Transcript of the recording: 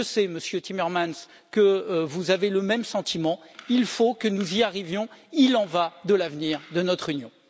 Monsieur Timmermans, je sais que vous avez le même sentiment, il faut que nous y arrivions, il en va de l'avenir de notre Union.